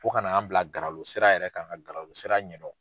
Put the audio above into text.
Fo ka na an bila Garalo sira yɛrɛ kan ka Garalo sira ɲɛ dɔn.